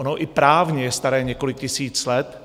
Ono i právně je staré několik tisíc let.